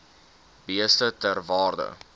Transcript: beeste ter waarde